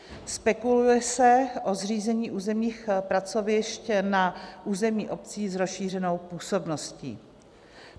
Spekuluje se o zřízení územních pracovišť na území obcí s rozšířenou působností.